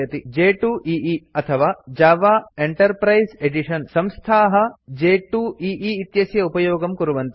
j2ई अथवा Java enterprise edition Java enterprise edition संस्थाः j2ई इत्यस्य उपयोगं कुर्वन्ति